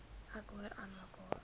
ek hoor aanmekaar